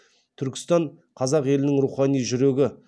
түркістан қазақ елінің рухани жүрегі